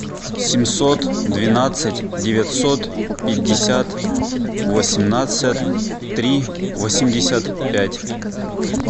семьсот двенадцать девятьсот пятьдесят восемнадцать три восемьдесят пять